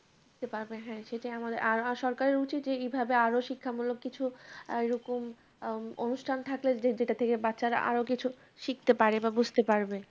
শিখতে পারবে, হ্যাঁ সেটাই আমাদের আর আর সরকারের উচিত এইভাবে আরও শিক্ষামূলক কিছু এরকম আহ অনুষ্ঠান থাকলে যেটা থেকে বাচ্চারা আরও কিছু শিখতে পারে বা বুঝতে পারবে।